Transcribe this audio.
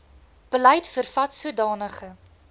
beleid vervat sodanige